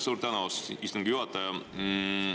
Suur tänu, austatud istungi juhataja!